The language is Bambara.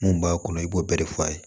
Mun b'a kɔnɔ i b'o bɛɛ de f'a ye